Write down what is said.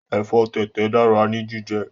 Ẹ̀fọ́ tẹ̀tẹ̀ dára ní jíjẹ